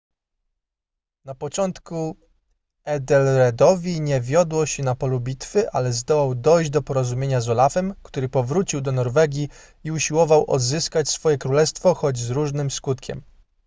na początku ethelredowi nie wiodło się na polu bitwy ale zdołał dojść do porozumienia z olafem który powrócił do norwegii i usiłował odzyskać swoje królestwo choć z różnym skutkiem